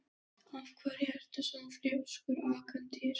Af hverju ertu svona þrjóskur, Angantýr?